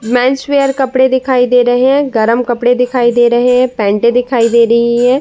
Mains wear कपड़े दिखाई दे रहे हैं। गर्म कपड़े दिखाई दे रहे हैं। पेट दिखाई दे रही हैं।